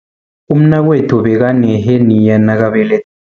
Umnakwethu bekaneheniya nakabele